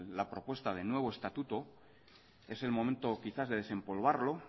la propuesta del nuevo estatuto es el momento quizás de desempolvarlo